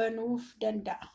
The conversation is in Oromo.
banuufi danda'a